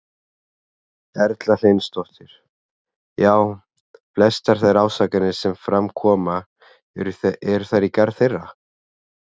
Erla Hlynsdóttir: Já, flestar þær ásakanir sem fram koma, eru þær í garð þeirra?